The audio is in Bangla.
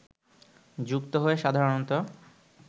যুক্ত হয়ে সাধারণত